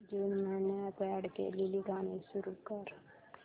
जून महिन्यात अॅड केलेली गाणी सुरू कर